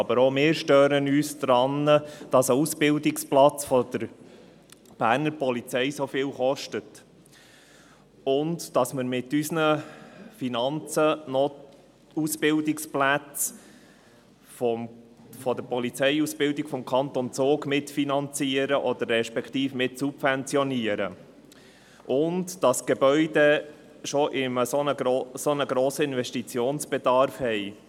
Aber auch wir stören uns daran, dass ein Ausbildungsplatz der Berner Polizei dermassen viel kostet, dass wir mit unseren Finanzen noch die Plätze der Polizeiausbildung des Kantons Zug mitfinanzieren respektive mitsubventionieren, und dass die Gebäude bereits einen so hohen Investitionsbedarf haben.